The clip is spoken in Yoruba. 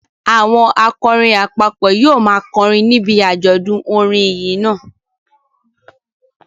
Àwọn akọrin àpapọ̀ yóò máa kọrin níbi àjọ̀dún orin ìyìn náà